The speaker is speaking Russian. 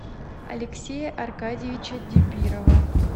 алексея аркадьевича дибирова